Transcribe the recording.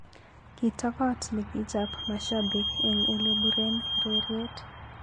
Kitokot ne kichap mashabik ko elepuren ureriet.